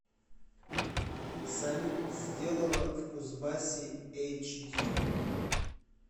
салют сделано в кузбассе эйч ди